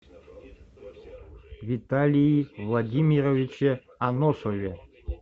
виталии владимировиче аносове